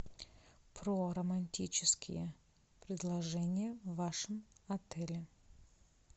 про романтические предложения в вашем отеле